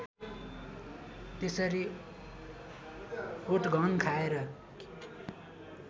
त्यसरी ओटघन खाएर